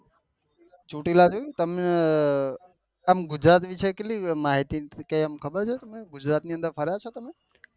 ચોટીલા જોયું તમે અ આમ ગુજરાત વિશે કેટલી માહિતી કે એમ ખબર છે ગુજરાત ની અન્દર ફર્યા છો તમે